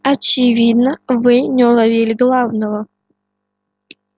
очевидно вы не уловили главного